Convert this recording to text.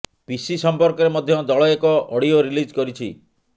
ପିସି ସମ୍ପର୍କରେ ମଧ୍ୟ ଦଳ ଏକ ଅଡିଓ ରିଲିଜ କରିଛି